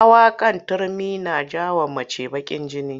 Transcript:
Hawa kan Turmi na ja wa mace bakin jini